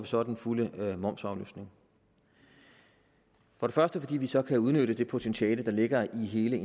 så den fulde momsafløftning først fordi vi så kan udnytte det potentiale der ligger i hele